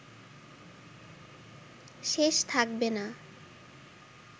শেষ থাকবে না